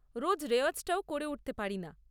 রোজ রেওয়াজটাও করে উঠতে পারিনা।